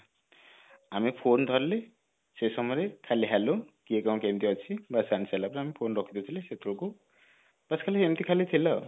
ଆମେ phone ଧରିଲେ ସେ ସମୟରେ ଖାଲି hello କିଏ କଣ କେମିତି ଅଛି ବାସ ପରେ ଆମେ phone ରଖି ଦେଇଥିଲେ ସେତେବେଳକୁ ବାସ ଖାଲି ଏମିତି ଖାଲି ଥିଲା